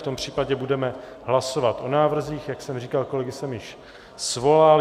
V tom případě budeme hlasovat o návrzích, jak jsem říkal, kolegy jsem již svolal.